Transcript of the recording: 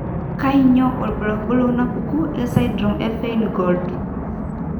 Kainyio irbulabul onaapuku esindirom efeingold?